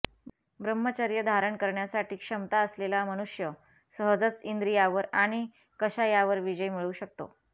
ब्रह्मचर्य धारण करण्यासाठी क्षमता असलेला मनुष्य सहजच इंद्रियावर आणि कषायावर विजय मिळवू शकतो